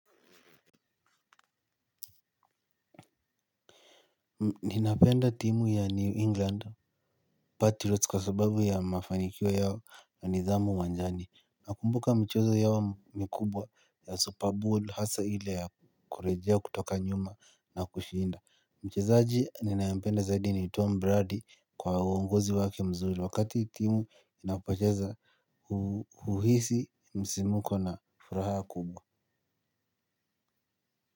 Ninapenda timu ya New England Patilots kwa sababu ya mafanikio yao na nidhamu uwanjani. Nakumbuka mchezo yao mikubwa ya Super Bowl hasa ile ya kurejea kutoka nyuma na kushinda. Mchezaji ninayampenda zaidi ni Tom Brady kwa uongozi wake mzuri wakati timu inapocheza uhisi msisimuko na furaha kubwa.